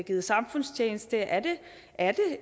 givet samfundstjeneste er er